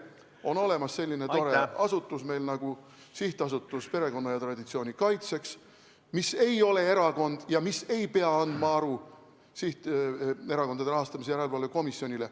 On olemas selline tore asutus nagu SA Perekonna ja Traditsiooni Kaitseks, mis ei ole erakond ja mis ei pea andma aru Erakondade Rahastamise Järelevalve Komisjonile.